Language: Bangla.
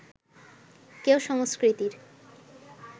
কেউ সংস্কৃতির